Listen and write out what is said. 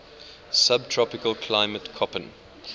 subtropical climate koppen